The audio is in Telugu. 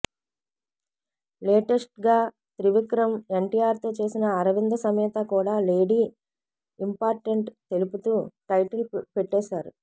లేటెస్ట్గా త్రివిక్రమ్ ఎన్టీఆర్తో చేసిన అరవింద సమేత కూడా లేడీ ఇంపార్టెంట్ తెలుపుతూ టైటిల్ పెట్టేశారు